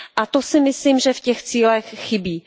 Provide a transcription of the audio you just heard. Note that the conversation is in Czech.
To si myslím, že v těch cílech chybí.